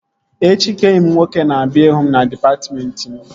Echi ka enyi m nwoke na-abịa ịhụ m na dịpatmentị m